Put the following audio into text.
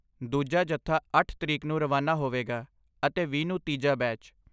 ਦੂਜਾ ਜੱਥਾ ਅੱਠ ਤਰੀਕ ਨੂੰ ਰਵਾਨਾ ਹੋਵੇਗਾ ਅਤੇ, ਵੀਹ ਨੂੰ ਤੀਜਾ ਬੈਚ